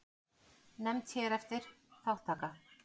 Nefnd hér eftir: Þátttaka.